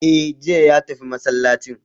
E' jiya ya tafi masallacin